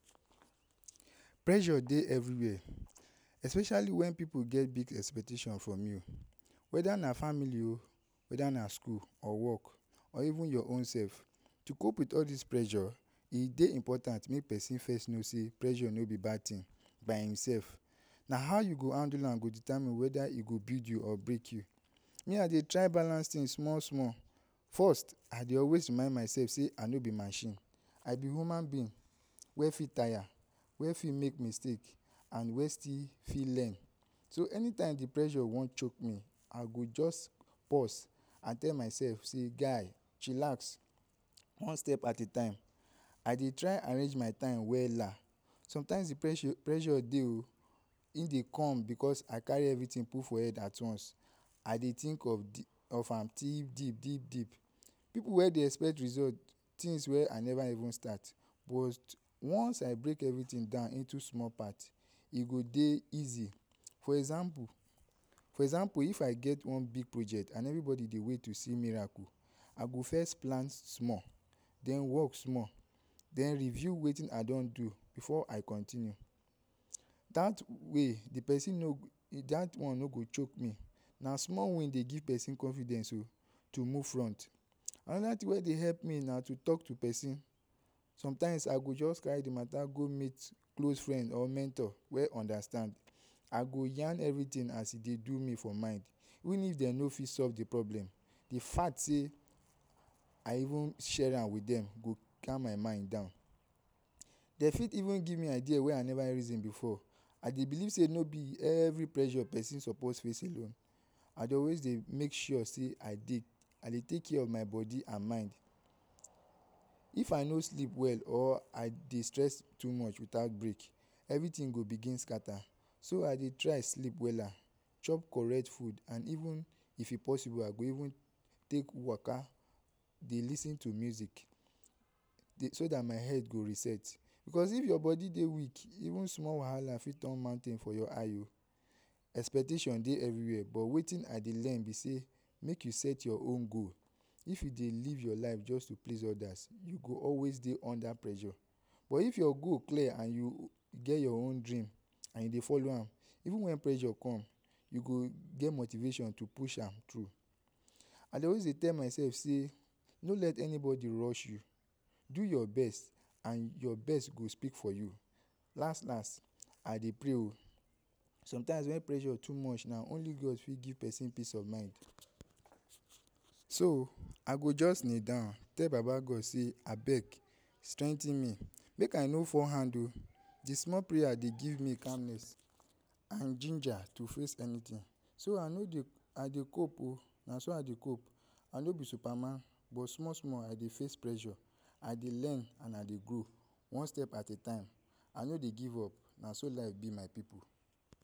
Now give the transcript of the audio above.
Pressure dey every where, especially when pipu get expectation from you whether na family o whether na school or work or even your own self. To cope up with all dis pressure e dey important make person first no sey pressure no be bad thing by himself sef, na how u go handle am e go determine whether e go build you or break you. Me I dey try balance things I small small first, I dey always remind myself sey I no be machine, I be human being wey fit tire, wey fit make mistake, and wey fit still fit learn so anytime dey pressure wan come chook me I go just pause and tell myself sey guy chillex one step at a time I dey try arrange my time wella sometimes de pressure dey o e dey come because I carry everything put for head at once I dey think of am deep deep deep deep pipu wey dey expect result things wey I never even start but once I break everything down into -small part e go dey easy, for example for example if I get one big project and everybody dey wait to see miracle I go first plan small, den work small, den review wetin I don do before I continue, dat way de person no, dat one no go chook me na small win dey give person confidence o to move front another thing wey dey help me na to talk to person sometimes I go just carry my mata go close friend or mentor wey understand I go yan every as e dey do me for mind, even if dem no fit solve de problem de fact sey I even share am with dem go calm my mind down. Dem fit even give me idea wey I never reason before I dey believe sey no be every pressure person suppose face alone, I dey always dey make sure sey I dey take care of my body and mind if I no sleep well or I dey stress too much without break everything go begin scatter so I dey try sleep wella, chop correct food and even if e possible I go take small waka dey lis ten to music so dat my head go reset because if your body dey weak even small wahala fit turn mountain for your eye o expectation dey every where but wetin I dey learn be sey, make you set your own goals if you dey live your own life just to please others you go always dey under pressure but if your goal clear and you get your own dream and you dey follow am even when pressure come you go get motivation to push am through. I dey always tell myself sey no let anybody rush you, do your best and your best go speak for you last last I dey pray o sometimes when pressure too much na only God fit give person peace of mind so I go just kneel down tell baba God sey, abeg strengthen me make I no fall hand o, de small prayer dey give me calmness and ginger to face anything so I no dey I dey cope o naso I dey cope I no be superman but small small I dey face pressure, I dey learn, I dey grow, one step at a time I no dey give up naso life be my pipu.